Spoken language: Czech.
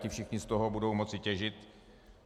Ti všichni z toho budou moci těžit.